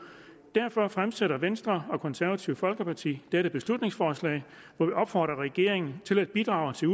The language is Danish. derfor fremsætter venstre og det konservative folkeparti dette beslutningsforslag hvor vi opfordrer regeringen til at bidrage til